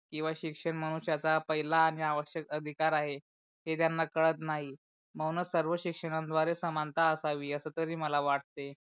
जेव्हा शिक्षण मनुष्याच्या पहिला आणि आवश्यक अधिकार आहे, हे त्यांना कळत नाही म्हणून सर्व शिक्षणयाद्वारे समानता असावी अस तरी मला वाटते